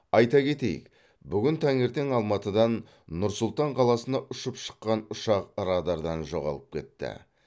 айта кетейік бүгін таңертең алматыдан нұр сұлтан қаласына ұшып шыққан ұшақ радардан жоғалып кетті